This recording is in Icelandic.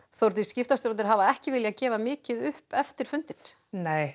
Þórdís skiptastjórarnir hafa ekki viljað gefa mikið upp eftir fundinn nei